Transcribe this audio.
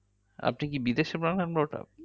আপনি কি বিদেশে born and brought up